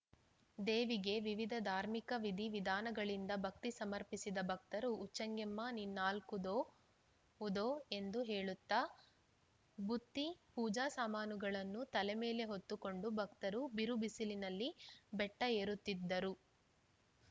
ದೇವಿಗೆ ವಿವಿಧ ಧಾರ್ಮಿಕ ವಿಧಿ ವಿಧಾನಗಳಿಂದ ಭಕ್ತಿ ಸಮರ್ಪಿಸಿದ ಭಕ್ತರು ಉಚ್ಚೆಂಗೆಮ್ಮ ನಿನ್ನಾಲ್ಕು ಉದೋ ಉದೋ ಎಂದು ಹೇಳುತ್ತಾ ಬುತ್ತಿ ಪೂಜಾ ಸಾಮಾನುಗಳನ್ನು ತಲೆ ಮೇಲೆ ಹೊತ್ತು ಕೊಂಡು ಭಕ್ತರು ಬಿರು ಬಿಸಿಲಿನಲ್ಲಿ ಬೆಟ್ಟಏರುತ್ತಿದ್ದರು